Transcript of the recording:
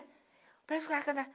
Roberto Carton cantava...